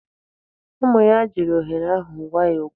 Ụmụ ya jiri ohere ahụ gwa ya okwu.